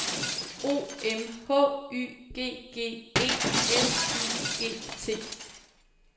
O M H Y G G E L I G T